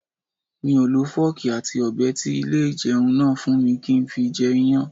Mi ò lo fọ́ọ̀kì àti Ọ̀bẹ tí ilé ìjẹun náà fún mi kí n fi jẹ Iyán.